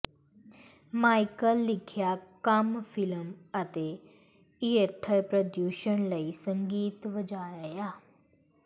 Michael ਲਿਖਿਆ ਕੰਮ film ਅਤੇ ਥੀਏਟਰ ਪ੍ਰਦਰਸ਼ਨ ਲਈ ਸੰਗੀਤ ਵਜਾਇਆ